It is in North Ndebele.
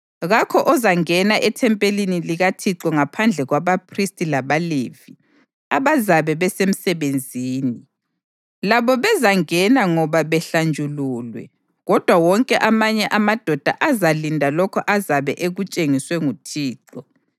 Kakho ozangena ethempelini likaThixo ngaphandle kwabaphristi labaLevi abazabe besemsebenzini; labo bezangena ngoba behlanjululwe, kodwa wonke amanye amadoda azalinda lokho azabe ekutshengiswe nguThixo.